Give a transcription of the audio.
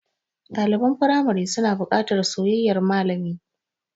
Ɗaliban firamari suna buƙatar soyayyar malami.